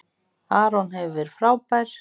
Aron hefur verið frábær.